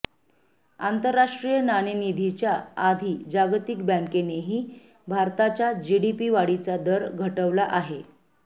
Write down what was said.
आंतरराष्ट्रीय नाणेनिधीच्या आधी जागतिक बँकेनेही भारताच्या जीडीपी वाढीचा दर घटवला आहे